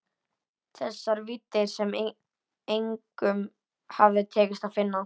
Þessar víddir sem engum hafði tekist að finna.